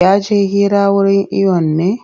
Ya je hira wurin iwon ne?